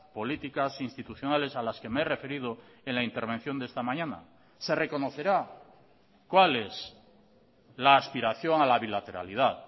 políticas institucionales a las que me he referido en la intervención de esta mañana se reconocerá cual es la aspiración a la bilateralidad